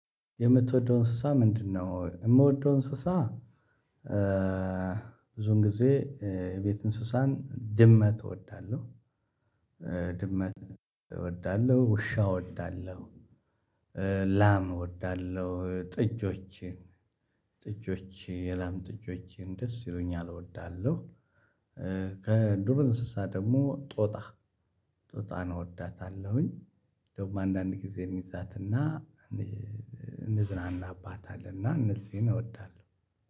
የምትወደው እንስሳ ምንድነው? እምወደው እንስሳ ኧ ብዙውን ጊዜ ኧ የቤት እንስሳን ድመት እወዳለሁ። ድመት እወዳለሁ ውሻ እወዳለሁ። ኧ ላም እወዳለሁ ጥጆችን ጥጆች የላም ጥጆችን ደስ ይሉኛል እወዳለሁ። ከዱር እንስሳ ደሞ ጦጣ ጦጣን እወዳታለሁኝ። ደግሞ አንዳንድ ጊዜ እንይዛትና እንይይ እንዝናናባትለ እና እነዚህን እወዳለሁ